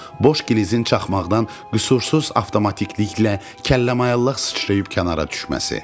Boş glizin çaxmaqdan qüsursuz avtomatikliklə kəlləmayallaq sıçrayıb kənara düşməsi.